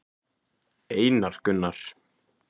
Einar Gunnar.